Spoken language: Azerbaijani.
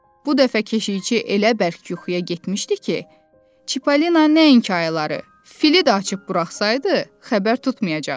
Bu dəfə keşiyçi elə bərk yuxuya getmişdi ki, Çipolina nəinki ayıları, fili də açıb buraxsaydı, xəbər tutmayacaqdı.